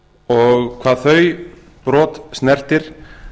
og hvað þau brot snertir